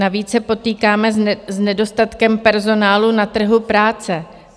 Navíc se potýkáme s nedostatkem personálu na trhu práce.